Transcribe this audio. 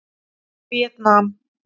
Víetnam